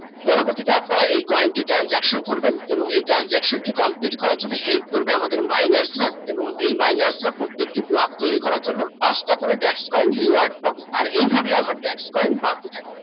পরবতীতে আপনারা এই coin টি transaction করবেন এবং এই Transaction টি Complete করার জন্য help করবে আমাদের মাইনাসরা এবং এই মাইনাসরা প্রত্যেকটি block তৈরি করার জন্য পাঁচ তা করে back coin rewards পাবে আর এই ভাবে আমার desk coin বাড়তে থাকবে